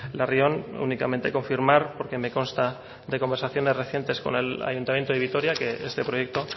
larrion únicamente confirmar porque me consta de conversaciones recientes con el ayuntamiento de vitoria que este proyecto